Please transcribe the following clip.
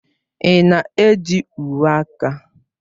Ị na-eji uwe aka?